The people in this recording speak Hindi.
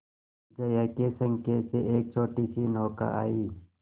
जया के संकेत से एक छोटीसी नौका आई